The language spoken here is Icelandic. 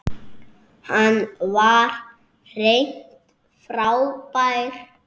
Hann var hreint frábær.